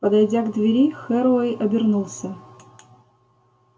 подойдя к двери херроуэй обернулся